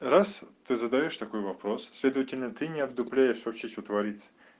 раз ты задаёшь такой вопрос следовательно ты не отдупляешь вообще что творится